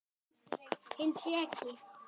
Hinn seki.